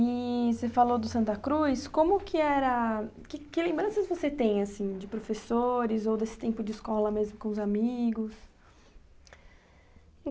E você falou do Santa Cruz, como que era... Que que lembranças você tem, assim, de professores ou desse tempo de escola mesmo com os amigos?